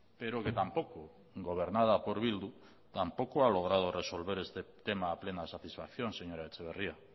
pero que tampoco gobernada por bildu tampoco ha logrado resolver este tema a plena satisfacción señora etxeberria